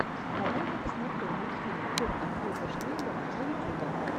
давай я посмотрю мультфильм курта хьюго шнайдера на ютубе